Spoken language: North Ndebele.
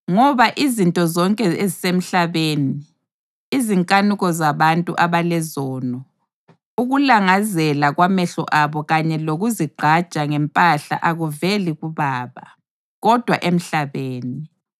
Ngoba izinto zonke ezisemhlabeni, izinkanuko zabantu abalezono, ukulangazela kwamehlo abo kanye lokuzigqaja ngempahla akuveli kuBaba, kodwa emhlabeni.